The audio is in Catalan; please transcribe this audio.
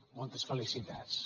moltes felicitats